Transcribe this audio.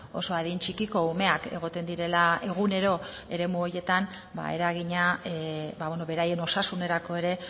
oso adin txikiko umeak egoten direla egunero eremu horietan ba eragina beraien osasunerako ere